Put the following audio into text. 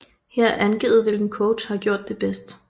Her er angivet hvilken coach har gjort det bedst